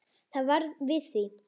Það varð við því.